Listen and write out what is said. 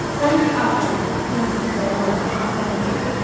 Sankı afərin, yazıq dəli oğlan, afərin deyirdi.